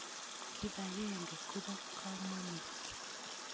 Kipakenge ko po kamonut.